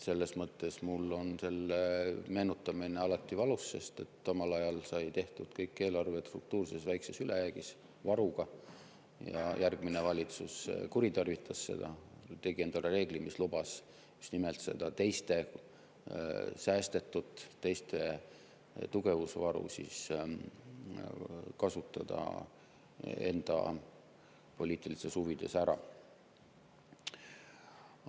Selles mõttes mul on selle meenutamine alati valus, sest omal ajal sai tehtud eelarve struktuurses väikeses ülejäägis, varuga, aga järgmine valitsus kuritarvitas seda, tegi endale reeglid, mis lubasid just nimelt seda teiste säästetut, teiste tugevusvaru enda poliitilistes huvides ära kasutada.